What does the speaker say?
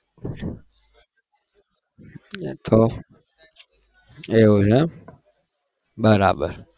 એ તો એવું છે એમ બરાબર